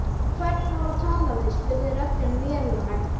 Hvern á að tala við? spurði röddin vélrænt.